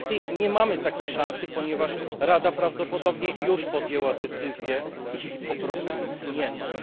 Niestety, nie mamy takiej szansy, ponieważ Rada prawdopodobnie już podjęła decyzję i jej po prostu nie ma.